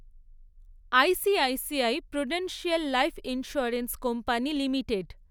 ICICI Prudential Life Insurance Company limited